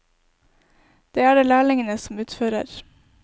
Det er det lærlingene som utfører.